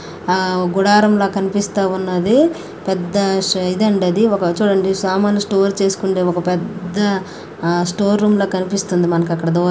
ఆమ్ గుడారంల కనిపిస్తూ ఉన్నది. పెద్ద ఇది అండి అది ఒక చూడండి సామాన్లు స్టోర్ చేసుకుండె ఒక పెద్ద స్టోర్ రూమ్ లా కనిపిస్తుంది మనకక్కడ దూర--